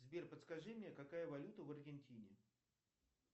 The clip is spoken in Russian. сбер подскажи мне какая валюта в аргентине